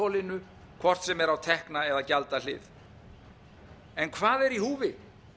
og þanþolinu hvort sem er á tekna eða gjaldahlið hvað er í húfi